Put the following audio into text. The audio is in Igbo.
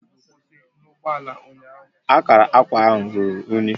Akara akwa ahụ ruru unyi